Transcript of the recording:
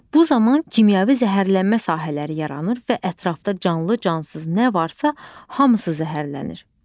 Bu zaman kimyəvi zəhərlənmə sahələri yaranır və ətrafda canlı cansız nə varsa, hamısı zəhərlənir.